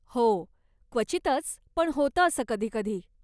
हो, क्वचितच, पण होतं असं कधीकधी.